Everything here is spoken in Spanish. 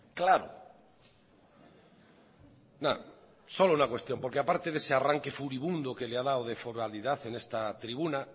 claro solo una cuestión porque aparte de ese arranque furibundo que le ha dado de foralidad en esta tribuna